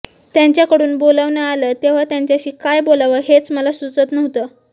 त्यांच्याकडून बोलावणं आलं तेव्हा त्यांच्याशी काय बोलावं हेच मला सुचत नव्हतं